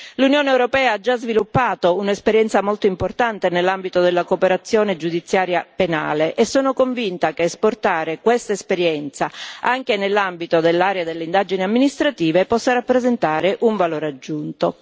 L'Unione europea ha già sviluppato un'esperienza molto importante nell'ambito della cooperazione giudiziaria penale e sono convinta che esportare questa esperienza anche nell'ambito dell'area delle indagini amministrative possa rappresentare un valore aggiunto.